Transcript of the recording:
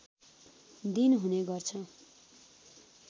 दिन हुने गर्छ